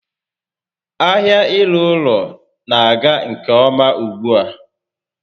Ahia ịrụ ụlọ n'aga nke ọma ugbu a